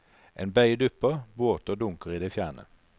En bøye dupper, båter dunker i det fjerne.